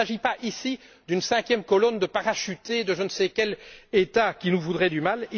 Il ne s'agit pas, ici, d'une cinquième colonne parachutée de je ne sais quel État qui nous voudrait du mal